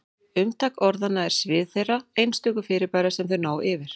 Umtak orðanna er svið þeirra einstöku fyrirbæra sem þau ná yfir.